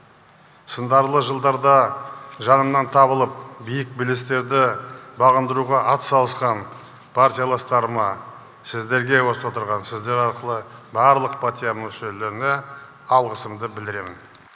сыңдарлы жылдарда жанымнан табылып биік белестерді бағындыруға ат салысқан партияластарыма сіздерге осы отырған сіздер арқылы барлық партия мүшелеріне алғысымды білдіремін